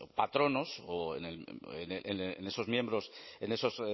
patronos o en esos miembros en esos